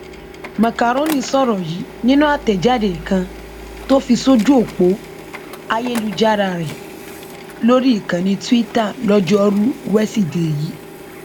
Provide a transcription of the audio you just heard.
màkàrónì sọrọ yìí nínú àtẹjáde kan tó fi sójú ọpọ ayélujára rẹ lórí ìkànnì túìta lojoruu wesidee yìí